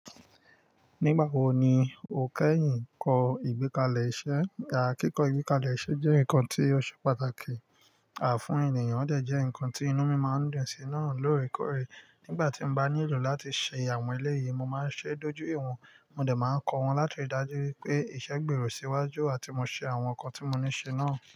Nígbà wo ni o kẹ́yìn kọ ìgbékalẹ̀ iṣẹ́? Àkíkọ ìgbékalẹ̀ iṣẹ́ jẹ́ nǹkan tí ó ṣe pàtàkì, àfún ènìyàn, ó dẹ̀ jẹ́ ǹkan tí inú mi máa ń dùn sí náà lóòrèkóòrè. Nígbà tí mo bá nílò láti ṣe àwọn eléyìí, mo máa ń ṣe é dojú ìwọ̀n, mo dẹ̀ máa kọ wọ́n láti dájú wípé iṣẹ́ gbèrò síwájú àti mo ṣe àwọn ǹkan tí mo ní ṣe náà.